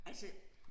Altså